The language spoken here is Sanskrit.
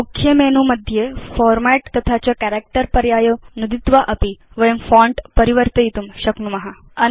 मुख्ये मेनु मध्ये फॉर्मेट् तथा च कैरेक्टर् पर्यायौ नुदित्वा अपि वयं फोंट परिवर्तयितुं शक्नुम